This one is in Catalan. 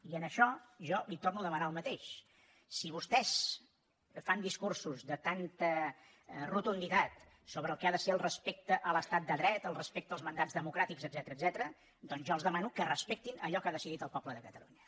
i en això jo li torno a demanar el mateix si vostès fan discursos de tanta rotunditat sobre el que ha de ser el respecte a l’estat de dret el respecte als mandats democràtics etcètera jo els demano que respectin allò que ha decidit el poble de catalunya